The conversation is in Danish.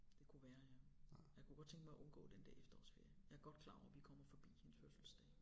Det kunne være ja jeg kunne godt tænke mig at undgå den der efterårsferie jeg er godt klar over vi kommer forbi hendes fødselsdag